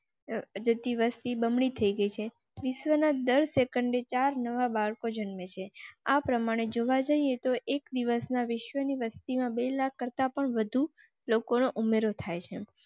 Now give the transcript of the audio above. વસતી બમણી થઈ ગઈ છે. વિશ્વનાથ દર second ચાર નવા બાળકો જન્મે છે. આ પ્રમાણે જોવા જઇએ તો એક દિવસમાં વિશ્વની વસ્તી માં બે લાખ કરતા પણ વધુ લોકો નો ઉમેરો થાય છે.